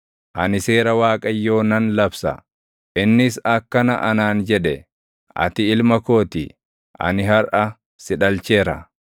Ani seera Waaqayyoo nan labsa: innis akkana anaan jedhe; “Ati ilma koo ti; ani harʼa si dhalcheera.